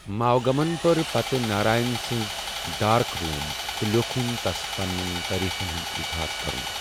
ماوگمن پٔر پتہٕ Narayan sons dark روٗم'تہٕ لیوُکھُِن تس ، پننین تعریفن ہُند اظہار کران ۔